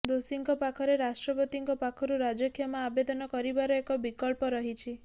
ଦୋଷୀଙ୍କ ପାଖରେ ରାଷ୍ଟ୍ରପତିଙ୍କ ପାଖରୁ ରାଜକ୍ଷମା ଆବେଦନ କରିବାର ଏକ ବିକଳ୍ପ ରହିଛି